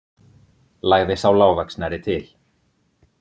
lagði sá lágvaxnari til.